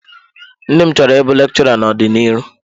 Nne m chọrọ ịbụ lekchọra n'ọdiniru.